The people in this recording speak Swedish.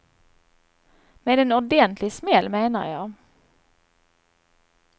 Med en ordentlig smäll, menar jag.